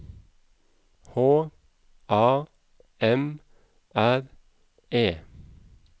H A M R E